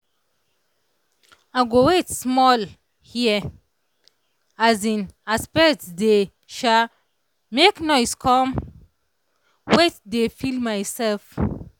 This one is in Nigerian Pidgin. i go wait small hear um as birds dey um make noise come wait dey feel myself.